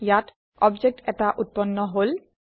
ইয়াত অবজেক্ট এটা উত্পন্ন হল